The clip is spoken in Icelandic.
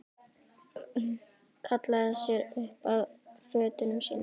Hallaði sér upp að fötunum sínum.